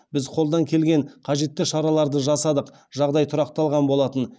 біз қолдан келген қажетті шараларды жасадық жағдай тұрақталған болатын